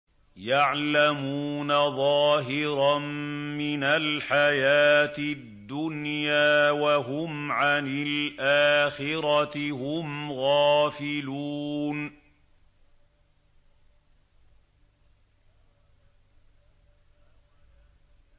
يَعْلَمُونَ ظَاهِرًا مِّنَ الْحَيَاةِ الدُّنْيَا وَهُمْ عَنِ الْآخِرَةِ هُمْ غَافِلُونَ